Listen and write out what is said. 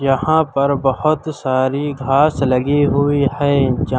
यहां पर बहोत सारी घास लगी हुई हैं जा--